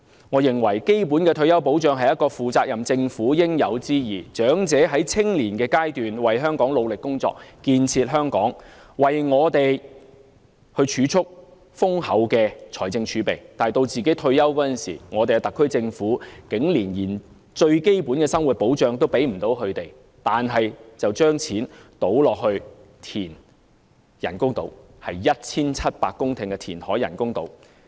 我認為基本的退休保障是一個負責任政府的應有之義，長者在青年時為香港努力工作，建設香港，為我們預留豐厚的財政儲備，但當他們退休時，香港特區政府竟然連最基本的生活保障都未能提供給他們，更將金錢用來填海和興建人工島——那是填海 1,700 公頃興建人工島。